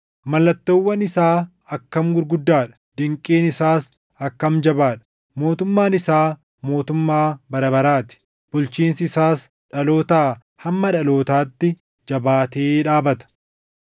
Mallattoowwan isaa akkam gurguddaa dha; dinqiin isaas akkam jabaa dha! Mootummaan isaa mootummaa bara baraa ti; bulchiinsi isaas dhalootaa hamma dhalootaatti jabaatee dhaabata.